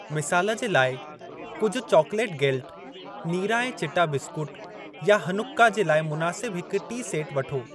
मिसाल जे लाइ, कुझु चॉकलेट गेल्ट, नीरा-ऐं-चिटा बिस्कुट, या हनुक्का जे लाइ मुनासिबु हिकु टी सेट वठो।